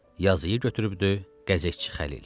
Yazıyı götürübdü Qəzetçi Xəlil.